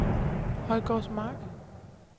Højgårdsmark